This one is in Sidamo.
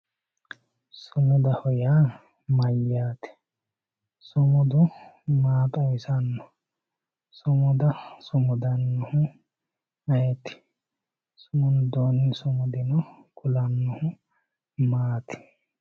sumudaho yaa mayyate? sumudu maa xawisanno? sumuda sumudannohu ayeeti? hittoonni sumudaho yinannihu maati